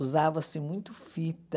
Usava-se muito fita.